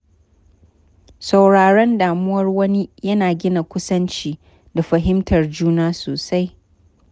Sauraron damuwar wani ya na gina kusanci da fahimtar juna sosai.